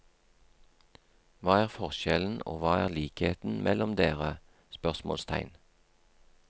Hva er forskjellen og hva er likheten mellom dere? spørsmålstegn